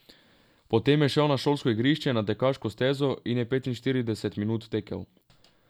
Potem je šel na šolsko igrišče, na tekaško stezo in je petinštirideset minut tekel.